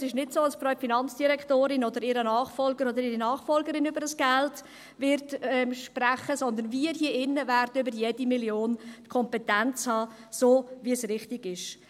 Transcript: Es ist nicht so, dass die Frau Finanzdirektorin oder ihr Nachfolger oder ihre Nachfolgerin dieses Geld sprechen werden, sondern wir hier drinnen werden die Kompetenz über jede Million haben, so, wie es richtig ist.